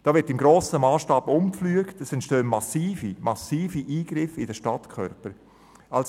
Da wird im grossen Massstab umgepflügt und massiv in den Stadtkörper eingegriffen.